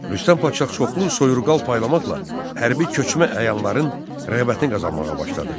Rüstəm Padşah çoxlu soyurqal paylamaqla hərbi köçmə əyanların rəğbətini qazanmağa başladı.